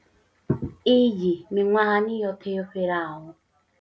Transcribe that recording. Iyi miṅwahani yoṱhe yo fhelaho.